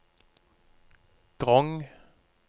Grong